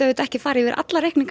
ekki farið yfir alla reikninga